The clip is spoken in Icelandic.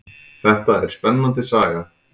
Þetta er spennandi saga.